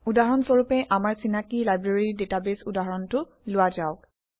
উদাহৰণ স্বৰূপে আমাৰ চিনাকি লাইব্ৰেৰী ডাটাবেছ উদাহৰণটো লোৱা যাওক